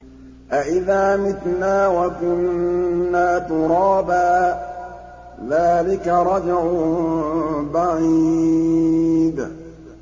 أَإِذَا مِتْنَا وَكُنَّا تُرَابًا ۖ ذَٰلِكَ رَجْعٌ بَعِيدٌ